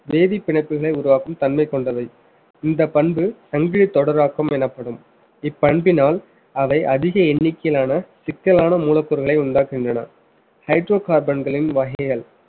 வேதிப் பிணைப்புகளை உருவாக்கும் தன்மை கொண்டவை. இந்தப் பண்பு சங்கிலித் தொடராக்கம் எனப்படும் இப்பண்பினால் அவை அதிக எண்ணிக்கையிலான சிக்கலான மூலப்பொருட்களை உண்டாக்குகின்றன hydrocarbon களின் வகைகள்